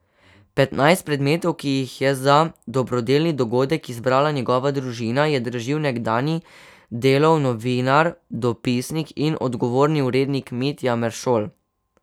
Petnajst predmetov, ki jih je za dobrodelni dogodek izbrala njegova družina, je dražil nekdanji Delov novinar, dopisnik in odgovorni urednik Mitja Meršol.